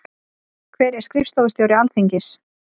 Hver er skrifstofustjóri Alþingis?